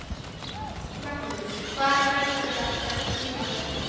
Magnús: Hvar læturðu prenta þínar bækur?